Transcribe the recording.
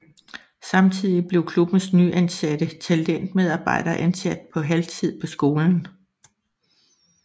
Samtidig blev klubbens nyansatte talentmedarbejder ansat på halvtid på skolen